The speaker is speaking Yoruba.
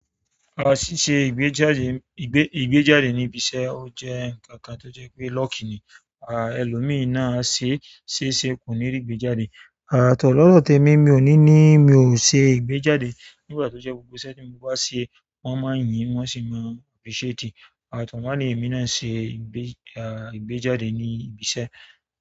A sì ṣe ìgbéjáde ìgbé ìgbéjáde ní ibiṣẹ́. Ó jẹ́ ǹnkan kan tó jẹ́ pé lucky ni. Àh ẹlòmíi ṣe ṣé e ṣé kò ní rí ìgbéjáde. Ah to, lọdọ temi mi o ni ni mi o se ìgbéjáde. Nígbà tí jẹ gbogbo iṣẹ́ tí mo bá ṣe, wón máa ń yín wọ́n sì máa appreciate. A to, wọn ni emi náà ṣe ìgbé ah ìgbéjáde ní ibiṣẹ́.